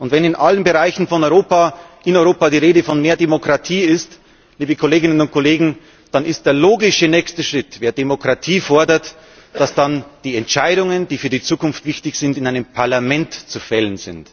Und wenn in allen Bereichen von Europa in Europa die Rede von mehr Demokratie ist, liebe Kolleginnen und Kollegen, dann ist der logische nächste Schritt Wenn Demokratie gefordert wird, dann sind die Entscheidungen, die für die Zukunft wichtig sind, in einem Parlament zu fällen.